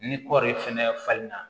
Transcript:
Ni kɔɔri fɛnɛ falen na